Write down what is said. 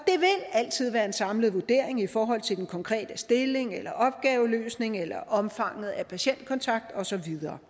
altid være en samlet vurdering i forhold til den konkrete stilling eller opgaveløsning eller omfanget af patientkontakt og så videre